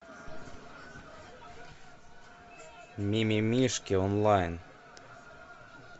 мимимишки онлайн